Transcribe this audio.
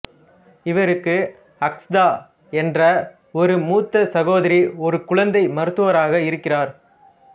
இவருக்கு அக்சதா என்ற ஒரு மூத்த சகோதரி ஒரு குழந்தை மருத்துவராக இருக்கிறார்